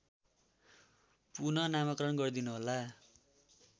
पुनःनामाकरण गरिदिनुहोला